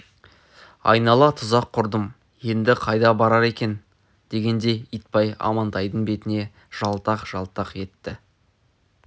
айнала тұзақ құрдым енді қайда барар екен дегендей итбай амантайдың бетіне жалтақ-жалтақ етті